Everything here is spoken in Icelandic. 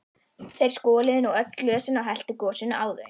Þeir skoluðu nú öll glösin og helltu gosinu á þau.